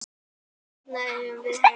Þarna eigum við heima.